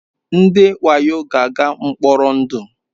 Ndị wayo ga-aga mkpọrọ ndụ.